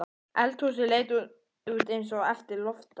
Eldhúsið leit út eins og eftir loftárás.